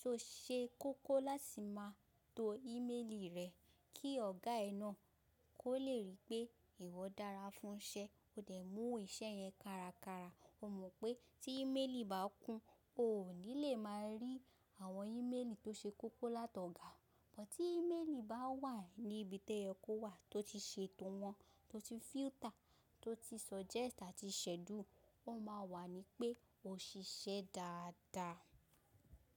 So ṣé kókó láti máa to ìméèlì rẹ kí ọ̀gá ẹ náà kó le rí pé ìwọ dára fún iṣẹ́, ode mú iṣẹ́ yẹn kárakára. O mọ̀ pé tí ìméèlì bá kún, o ní le máa rí àwọn ìméèlì tó ṣe kókó látọ̀gá. Bútí ìméèlì bá wà ní ibi tó yẹ kó wà, tó ti ṣe ètò wọn, tó ti filter, tó ti subject àti schedule, wọn máa wà ní pé o ṣiṣẹ́ dáadáa.